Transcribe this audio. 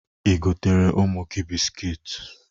I goteere ụmụ gị biskiit?